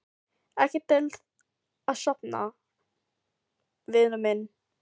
Ekki til að sofna, vinur minn.